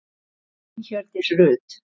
Þín Hjördís Rut.